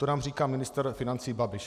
To nám říká ministr financí Babiš.